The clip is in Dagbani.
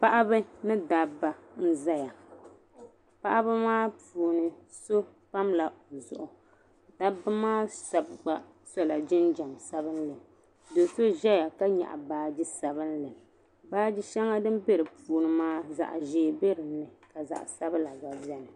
Paɣaba ni dabba n zaya paɣaba maa puuni so pamla o zuɣu dabba maa shɛba gba sola jinjɛm sabinli do so ʒeya ka nyaɣi baagi sabinli baagi shɛŋa din bɛ di puuni maa zaɣi ʒee bɛ din ni ka zaɣi sabila gba bɛni.